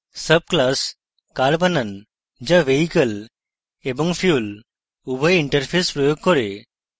subclass car বানান যা vehicle এবং fuel উভয় interfaces প্রয়োগ car